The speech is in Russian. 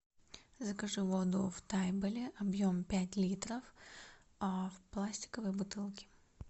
закажи воду в тайболе объем пять литров в пластиковой бутылке